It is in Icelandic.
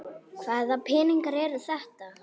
Hvaða peningar eru þetta?